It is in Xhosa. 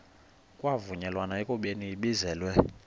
kwavunyelwana ekubeni ibizelwe